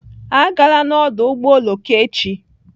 Agala n'ọdụ ụgbọ oloko echi!